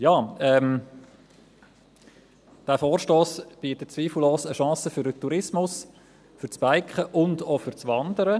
Dieser Vorstoss bietet zweifellos eine Chance für den Tourismus, für das Biken und auch für das Wandern.